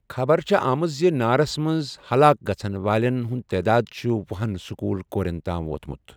خبر چھے٘ آمٕژ زِ نارس منز حلاك گژھن والین ہٗند تعداد چھٗ ۄہُ ہن سكوٗل كورین تام ووتمٗت ۔